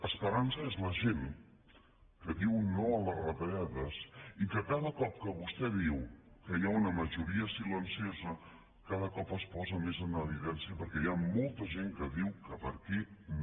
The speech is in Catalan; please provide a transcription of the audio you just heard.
esperança és la gent que diu no a les retallades i que cada cop que vostè diu que hi ha una majoria silenciosa cada cop es posa més en evidència perquè hi ha molta gent que diu que per aquí no